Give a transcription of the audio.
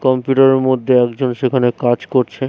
Computer এর মধ্যে একজন সেখানে কাজ করছে।